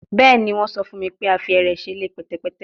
Bẹẹni, wọn sọ fun mi pe a fi ẹrẹ ṣe ile pẹtẹpẹtẹ